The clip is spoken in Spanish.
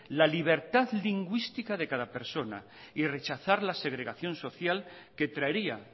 la libertad lingüística de cada persona y rechazar la segregación social que traería